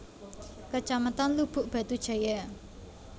Kecamatan Lubuk Batu Jaya